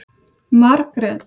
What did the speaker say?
Margrét